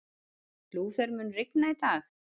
Lúther, mun rigna í dag?